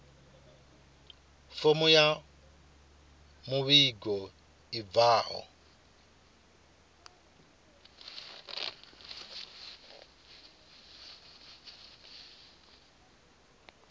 fomo ya muvhigo i bvaho